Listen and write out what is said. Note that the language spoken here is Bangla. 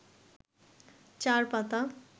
চার পাতা